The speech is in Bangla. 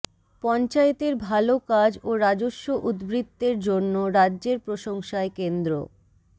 পঞ্চায়েতের ভাল কাজ ও রাজস্ব উদ্বৃত্তের জন্য রাজ্যের প্রশংসায় কেন্দ্র